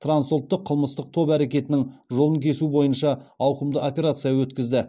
трансұлттық қылмыстық топ әрекетінің жолын кесу бойынша ауқымды операция өткізді